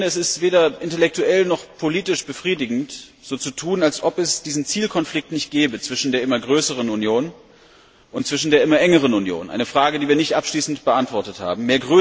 Aber ich finde, es ist weder intellektuell noch politisch befriedigend, so zu tun, als ob es diesen Zielkonflikt zwischen der immer größeren Union und der immer engeren Union nicht gebe eine Frage, die wir nicht abschließend beantwortet haben.